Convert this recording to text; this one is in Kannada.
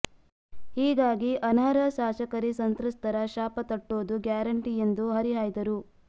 ಹೀಗಾಗಿ ಅನರ್ಹ ಶಾಸಕರಿ ಸಂತ್ರಸ್ತರ ಶಾಪ ತಟ್ಟೊದು ಗ್ಯಾರಂಟಿ ಎಂದು ಹರಿಹಾಯ್ದರು